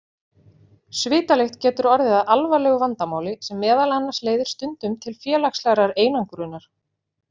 Svitalykt getur orðið að alvarlegu vandamáli sem meðal annars leiðir stundum til félagslegrar einangrunar.